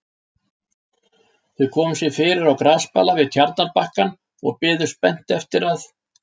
Þau komu sér fyrir á grasbala við tjarnarbakkann og biðu spennt eftir að